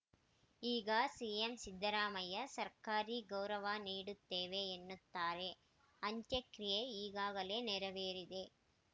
ಈಗ ಸಿಎಂ ಸಿದ್ದರಾಮಯ್ಯ ಸರ್ಕಾರಿ ಗೌರವ ನೀಡುತ್ತೇವೆ ಎನ್ನುತ್ತಾರೆ ಅಂತ್ಯಕ್ರಿಯೆ ಈಗಾಗಲೇ ನೆರವೇರಿದೆ